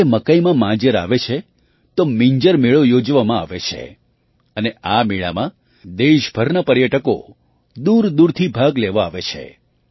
જ્યારે મકાઈમાં માંજર આવે છે તો મિંજર મેળો યોજવામાં આવે છે અને આ મેળામાં દેશભરના પર્યટકો દૂરદૂરથી ભાગ લેવા આવે છે